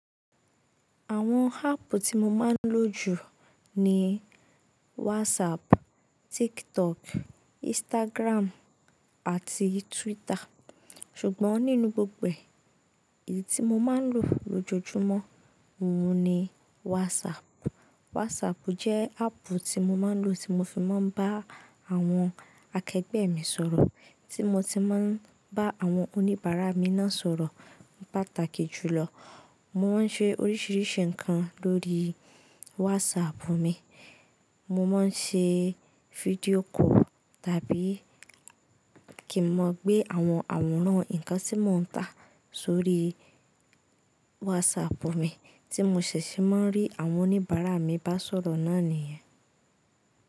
Àwọn háàpù tí mo máa ń lò jù ni WhatsApp, TikTok, Instagram àti Twitter. Ṣùgbọ́n nínú gbogbo èyí tí mo máa ń lò lójojúmọ́, òun ni WhatsApp. WhatsApp jẹ́ háàpù tí mo máa ń lò tí mo fi máa ń bá àwọn akẹgbẹ́ mi sọ̀rọ̀, tí mo ti máa ń bá àwọn oníbàárà mi náà sọ̀rọ̀ ni pàtàkì jùlọ. Mo máa ń ṣe oríṣiríṣi nǹkan lórí WhatsApp mi. Mo máa ń ṣe fídíò call tàbí kí mo gbé àwọn àwòrán nǹkan tí mò ń tà sórí WhatsApp mi tí mo ṣẹ̀ṣẹ̀ máa ń rí àwọn oníbàárà mi bá sọ̀rọ̀ náà nìyẹn.